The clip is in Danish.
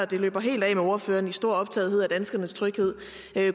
det løber helt af med ordføreren i hans store optagethed af danskernes tryghed